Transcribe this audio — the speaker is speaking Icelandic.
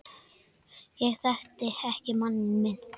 Ég þekkti ekki manninn minn